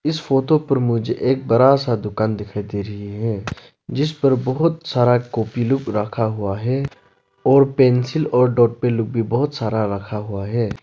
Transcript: इस फोटो पर मुझे एक बड़ा सा दुकान दिखाई दे रही है जिस पर बहुत सारा कॉपी लोग रखा हुआ है और पेंसिल और लोग भी बहुत सारा रखा हुआ है।